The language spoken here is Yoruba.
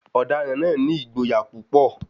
Ọ̀daràn náà ni ìgboyà púpọ̀.